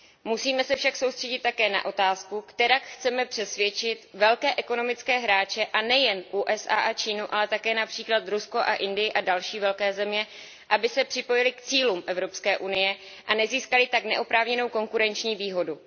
Musíme se však soustředit také na otázku, jak přesvědčit velké ekonomické hráče a nejen USA a Čínu, ale také například Rusko, Indii a další velké země, aby se připojily k cílům Evropské unie a nezískaly tak neoprávněnou konkurenční výhodu.